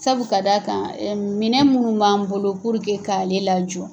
Sabu ka d'a kan minɛn minnu b'an bolo purke k' ale lajɔ